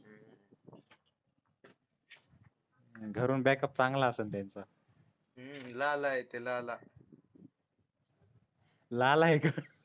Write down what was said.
घरून बॅकअप चांगला असेल त्यांचा लाला आहे ते लाला लाला आहे का